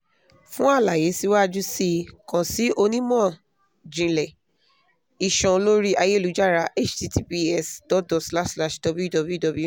fun alaye siwaju sii kan si onimọ-jinlẹ iṣan lori ayelujara https dot dot slash slash www